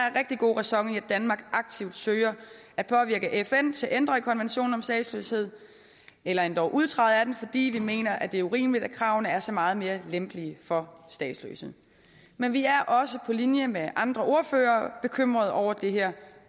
er rigtig god ræson i at danmark aktivt søger at påvirke fn til at ændre konventionen om statsløshed endog udtræde af den fordi vi mener at det er urimeligt at kravene er så meget mere lempelige for statsløse men vi er også på linje med andre ordførere bekymrede over det her